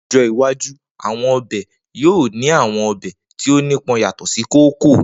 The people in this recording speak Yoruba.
Ni ojo iwaju, awọn ọbẹ yoo ni awọn ọbẹ ti o nipọn yatọ si koko.